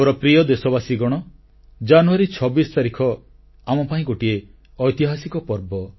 ମୋର ପ୍ରିୟ ଦେଶବାସୀଗଣ ଜାନୁୟାରୀ 26 ତାରିଖ ଆମପାଇଁ ଗୋଟିଏ ଐତିହାସିକ ପର୍ବ